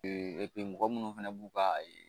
mɔgɔ minnu fana b'u ka